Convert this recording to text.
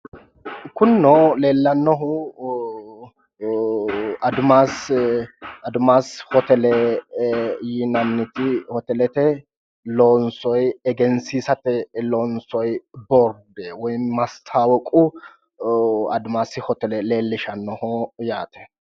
Kuninono leellannohu adimaasi hotele yinanniti hotelete loonsoyi egensiisate loonsoyi boorde woyi maastaawoqu adimaasi hotele leellishshannoho yaate.